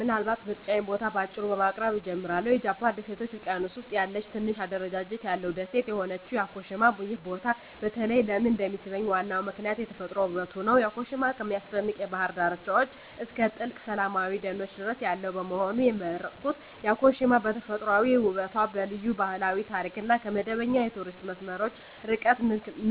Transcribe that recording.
ምናልባት የምርጫዬን ቦታ በአጭሩ በማቅረብ እጀምራለሁ -የጃፓን ደሴቶች ውቅያኖስ ውስጥ ያለ ትንሽ አደረጃጀት ያለው ደሴት የሆነችው ያኮሺማ። ይህ ቦታ በተለይ ለምን እንደሚሳብኝ ዋናው ምክንያት የተፈጥሮ ውበቱ ነው። ያኮሺማ ከሚያስደንቅ የባህር ዳርቻዎች እስከ ጥልቅ ሰላማዊ ደኖች ድረስ ያለው በመሆኑ። የመረጥኩት ያኮሺማ በተፈጥሯዊ ውበቷ፣ በልዩ ባህላዊ ታሪክ እና ከመደበኛ የቱሪስት መስመሮች ርቃታ